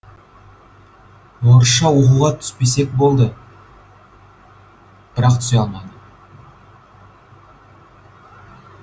орысша оқуға түспесек болды бірақ түсе алмады